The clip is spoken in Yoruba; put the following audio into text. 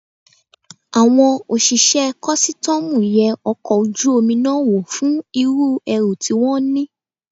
Àwọn òṣìṣẹ́ kọ́sítọ́mù yẹ ọkọ̀ ojú omi náà wò fún irú ẹrù tí wón ní.